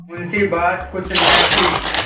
मुंशीबात कुछ न थी